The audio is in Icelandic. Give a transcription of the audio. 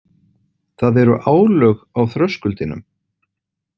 Það eru álög á þröskuldinum.